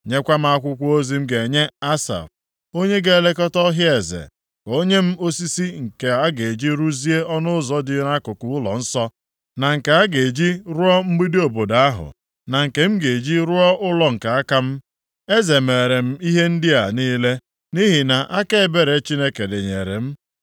Nyekwa m akwụkwọ ozi m ga-enye Asaf, onye na-elekọta ọhịa eze, ka o nye m osisi nke a ga-eji rụzie ọnụ ụzọ dị nʼakụkụ ụlọnsọ, na nke a ga-eji rụọ mgbidi obodo ahụ, na nke m ga-eji rụọ ụlọ nke aka m.” Eze meere m ihe ndị a niile, nʼihi na aka ebere Chineke dịnyere m.